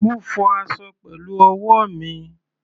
Mo fọ aṣọ pẹ̀lú ọwọ́ mi.